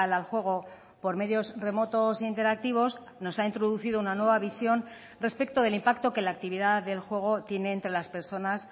al juego por medios remotos interactivos nos ha introducido una nueva visión respecto del impacto que la actividad del juego tiene entre las personas